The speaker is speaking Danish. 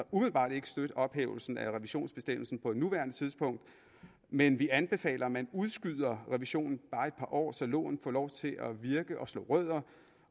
umiddelbart ikke støtte ophævelsen af revisionsbestemmelsen på nuværende tidspunkt men vi anbefaler at man udskyder revisionen bare et par år så loven får lov til at virke og slå rødder